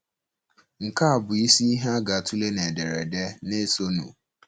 Nke a bụ isi ihe a ga-atụle n’ederede na - esonụ.